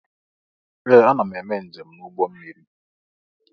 Ee! Ana m eme njem n'ụgbọ mmiri.